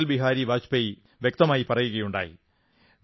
അടൽ ബിഹാരി വാജ്പേയി വ്യക്തമായി പറയുകയുണ്ടായി